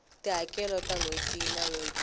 tihakelo ta nhweti na nhweti